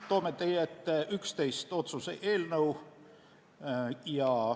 Toome teie ette 11 otsuse eelnõu.